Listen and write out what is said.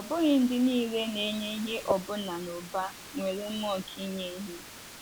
Ọ bụghị ndị nile na-enye ihe ọbụna n’ụba, nwere mmụọ nke inye ihe.